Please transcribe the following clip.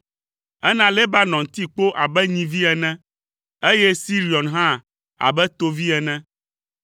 Ena Lebanon ti kpo abe nyivi ene, eye Sirion hã abe tovi ene.